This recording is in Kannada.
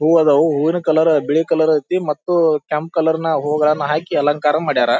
ಹೂವ್ ಅದಾವು ಹೂವಿನ ಕಲರ್ ಬಿಳಿ ಕಲರ್ ಐತೆ ಮತ್ತು ಕೆಂಪ್ ಕಲರ್ ನಲ್ಲಿ ಹೂವು ಹಾಕಿ ಅಲಂಕಾರ ಮಾಡಿದ್ದಾರೆ.